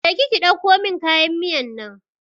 Je ki ki ɗauko mun kayan miyan nan!